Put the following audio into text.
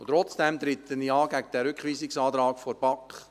Trotzdem trete ich gegen diesen Rückweisungsantrag der BaK an.